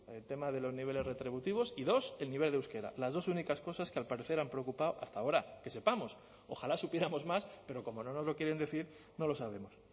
el tema de los niveles retributivos y dos el nivel de euskera las dos únicas cosas que al parecer han preocupado hasta ahora que sepamos ojalá supiéramos más pero como no nos lo quieren decir no lo sabemos